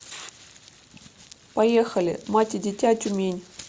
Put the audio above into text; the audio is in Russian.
поехали мать и дитя тюмень